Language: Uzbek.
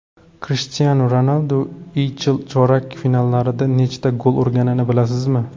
Krishtianu Ronaldu YeChL chorak finallarida nechta gol urganini bilasizmi?